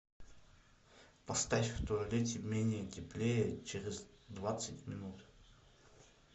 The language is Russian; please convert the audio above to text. поставь в туалете менее теплее через двадцать минут